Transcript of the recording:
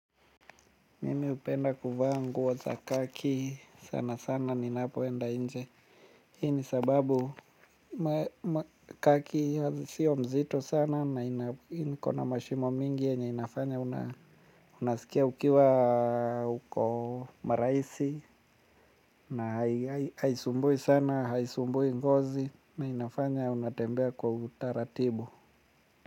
Mimi hupenda kuvaa nguo za kaki sana sana ninapoenda nje hii ni sababu kaki siyo mzito sana na iko na mashimo mingi yenye inafanya unasikia ukiwa uko mrahisi na haisumbui sana haisumbui ngozi na inafanya unatembea kwa utaratibu.